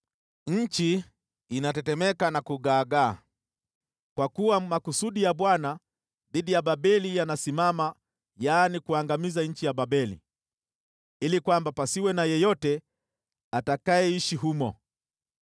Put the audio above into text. Nchi inatetemeka na kugaagaa, kwa kuwa makusudi ya Bwana dhidi ya Babeli yanasimama: yaani, kuangamiza nchi ya Babeli ili pasiwe na yeyote atakayeishi humo.